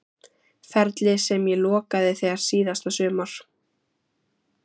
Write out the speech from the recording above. Ferli sem ég lokaði þegar síðasta sumar?